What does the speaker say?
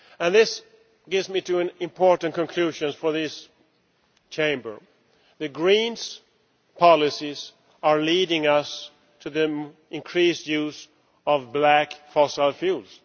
This leads me to an important conclusion for this Chamber the Green's policies are leading us to the increased use of black fossil fuels.